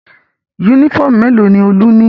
Únífọ́ọ́mù mélòó ni Olú ní?